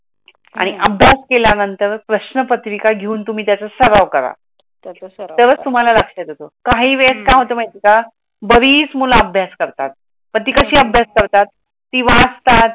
आणि अभ्यास केल्यानंतर प्रश्न पत्रिका घेऊन तुम्ही त्याचा सराव करा. तरच तुम्हाला लागत तेच काय होत माहेती आहे का, बारीच मूल अबयास करतात, पण ती कशी अबयास करतात? ती वाचतात